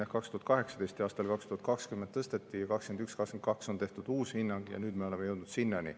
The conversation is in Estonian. Jah, 2018, aastal 2020 tõsteti, siis 2021, 2022 on tehtud uus hinnang ja nüüd me oleme jõudnud sinnani.